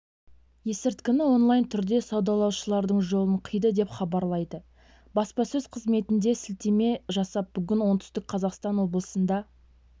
есірткіні онлайн түрде саудалаушылардың жолын қиды деп хабарлайды баспасөз қызметіне сілтеме жасап бүгін оңтүстік қазақстан облысында